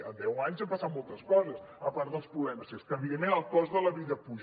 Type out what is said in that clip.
en deu anys han passat moltes coses a part dels problemes i és que evidentment el cost de la vida puja